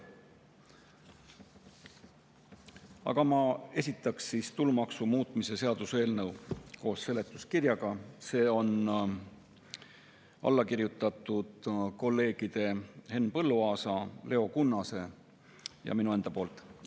Aga ma esitan tulumaksu muutmise seaduse eelnõu koos seletuskirjaga, sellele on alla kirjutanud kolleegid Henn Põlluaas, Leo Kunnas ja mina ise.